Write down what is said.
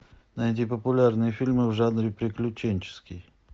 найди популярные фильмы в жанре приключенческий